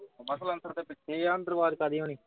ਮੈ ਸਲੰਨਸਰ ਦੇ ਪਿੱਛੇ ਆ ਅੰਦਰ ਅਵਾਜ ਕਾਹਦੀ ਹੋਣੀ